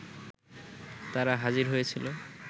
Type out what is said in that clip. তারা হাজির হয়েছিল